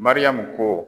Mariyamu ko